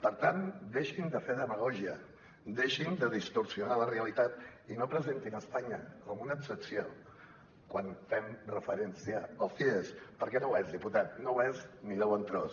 per tant deixin de fer demagògia deixin de distorsionar la realitat i no presentin espanya com una excepció quan fem referència als cies perquè no ho és diputat no ho és ni de bon tros